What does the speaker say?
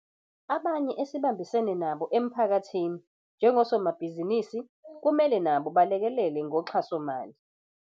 Abanye esibambisene nabo emphakathini njengosomabhizinisi kumele nabo balekelele ngoxhasomali.